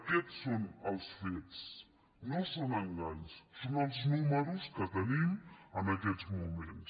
aquests són els fets no són enganys són els números que tenim en aquests moments